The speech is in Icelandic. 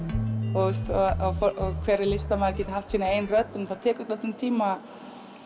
og að hver listamaður geti haft sína eigin rödd en það tekur dálítinn tíma